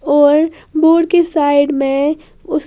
और बोर्ड के साइड में उस--